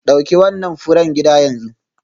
Dauki wannan furen gida yanzu.